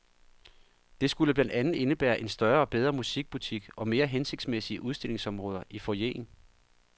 Det skulle blandt andet indebære en større og bedre musikbutik og mere hensigtsmæssige udstillingsområder i foyeren.